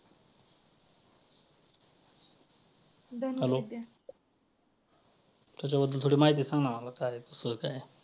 hello त्याच्याबद्दल थोडी माहिती सांग ना मला काये तासा